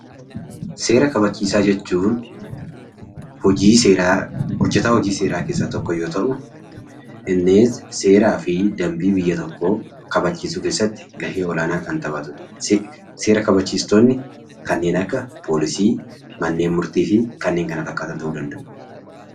Seera kabachiisaa jechuun hojjetaa hojii seeraa keessa tokko yoo ta'u innis seeraa fi dambii biyya tokkoo kabachiisuu keessatti gahee olaanaa kan taphatudha. Seera kabachiistonni kanneen akka poolisii, mana murtii fi kanneen kana fakkaatan ta'uu danda'u.